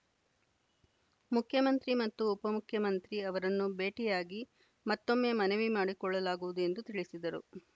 ಮುಖ್ಯಮಂತ್ರಿ ಮತ್ತು ಉಪಮುಖ್ಯಮಂತ್ರಿ ಅವರನ್ನು ಭೇಟಿಯಾಗಿ ಮತ್ತೊಮ್ಮೆ ಮನವಿ ಮಾಡಿಕೊಳ್ಳಲಾಗುವುದು ಎಂದು ತಿಳಿಸಿದರು